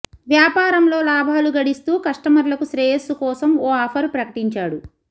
వ్యాపారంలో లాభాలు గడిస్తూ కష్టమర్లకు శ్రేయస్సు కోసం ఓ ఆఫర్ ప్రకటించాడు